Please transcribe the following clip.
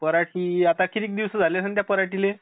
पराटी, आता किती दिवस झाले असतील त्या पराटीले.